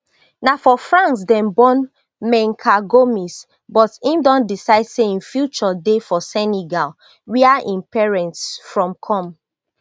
na for france dem born menka gomis but im don decide say im future dey for senegal wia im parents from come